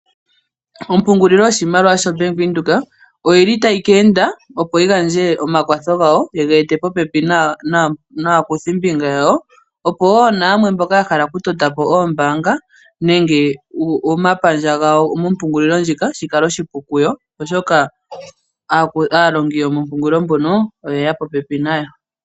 Ompungulilo yoshimaliwa yo Bank Windhoek oyili tayi ka enda opo yi gandje omakwatho gayo, ye ga ete popepi naakuthimbinga yawo. Opo wo na yamwe mboka ya hala okutotapo oombanga nenge omapandja gawo, mompungulilo ndjika, shi kale oshipu kuyo, oshoka aalongi yo mompungululi mono oyeya popepi nayo.